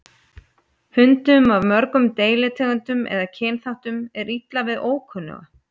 Hundum af mörgum deilitegundum eða kynþáttum er illa við ókunnuga.